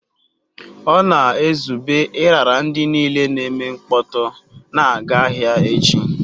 Ọ na-ezube ịrara ndị niile na-eme mkpọtụ na-aga ahịa echi.